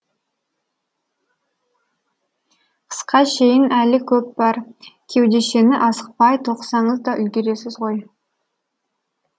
қысқа шейін әлі көп бар кеудешені асықпай тоқысаңыз да үлгересіз ғой